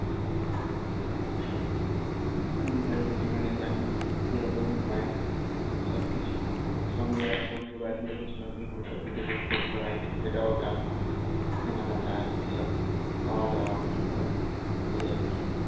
বিবাহিত জীবনে জানিস যে রকমই হয় সবকিছু সঙ্গে একসঙ্গে বাড়ির লোকের সঙ্গে ঘুরে বেরুতে করতে হয় এটা ওটা কেনাকাটা এসব খাওয়া দাওয়া এইসব আরকি